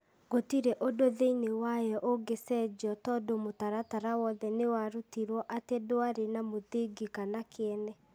gũtirĩ ũndũ thĩinĩ wayo ũngĩcenjio tondũ mũtaratara wothe nĩ watuirwo atĩ ndwarĩ na mũthingi kana kĩene ,